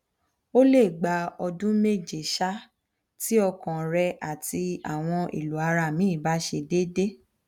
o le gba ọdun meje um ti ọkan rẹ ati awọn elo ara mi ba ṣe dede